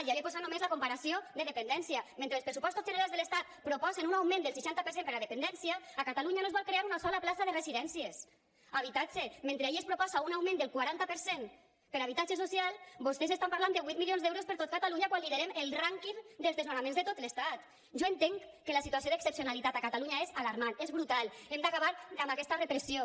ja li he posat només la comparació de dependència mentre els pressupostos generals de l’estat proposen un augment del seixanta per cent per a dependència a catalunya no es vol crear una sola plaça de residències habitatge mentre allí es proposa un augment del quaranta per cent per a habitatge social vostès estan parlant de vuit milions d’euros per a tot catalunya quan liderem el rànquing dels desnonaments de tot l’estat jo entenc que la situació d’excepcionalitat a catalunya és alarmant és brutal hem d’acabar amb aquesta repressió